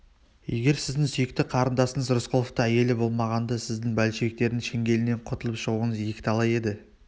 егер сіздің сүйікті қарындасыңыз рысқұловтың әйелі болмағанда сіздің большевиктер шеңгелінен құтылып шығуыңыз екіталай еді